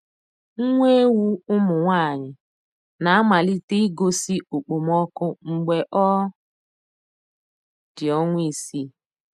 Nwa ewu ụmụ nwanyị na-amalite igosi okpomọkụ mgbe ọ dị ọnwa isii.